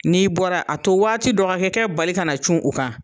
N'i bɔra a to waati dɔ ka kɛ kɛɛ bali ka cun u kan.